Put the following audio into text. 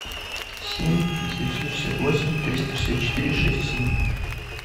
семь девятьсот шестьдесят восемь триста шестьдесят четыре шесть семь